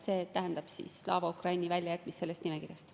See tähendab Slava Ukraini väljajätmist sellest nimekirjast.